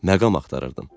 Məqam axtarırdım.